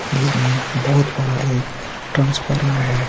जिसमे बहोत बड़ा एक ट्रांसफार्मर हे.